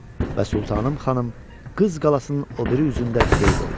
Və Sultanım xanım Qız qalasının o biri üzündə qeyb oldu.